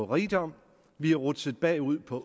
rigdom vi er rutsjet bagud på